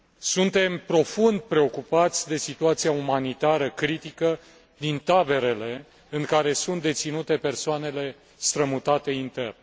Suntem profund preocupați de situația umanitară critică din taberele în care sunt deținute persoanele strămutate intern.